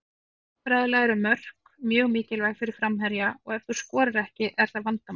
Sálfræðilega eru mörk mjög mikilvæg fyrir framherja og ef þú skorar ekki er það vandamál.